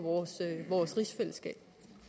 vores rigsfællesskab